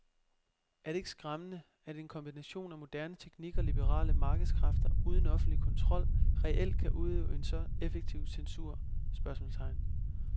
Er det ikke skræmmende at en kombination af moderne teknik og liberale markedskræfter uden offentlig kontrol reelt kan udøve en så effektiv censur? spørgsmålstegn